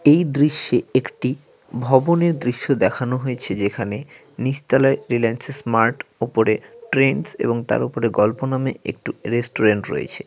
এই দৃশ্যে একটি ভবনের দৃশ্য দেখানো হয়েছে যেখানে নীচ তলায় রিলিয়ানসেস মার্ট ওপরে ট্রেন্ডস এবং তার ওপরে গল্প নামে একটি রেস্টুরেন্ট রয়েছে।